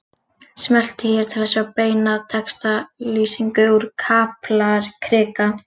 Smelltu hér til að sjá beina textalýsingu úr Kaplakrika